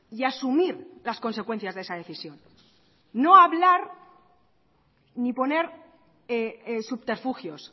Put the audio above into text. y asumir las consecuencias de esa decisión no hablar ni poner subterfugios